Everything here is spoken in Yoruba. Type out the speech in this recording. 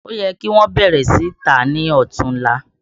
Ó yẹ kí wọn ó bẹ̀rẹ̀ sì í tà á ní Ọ̀tunla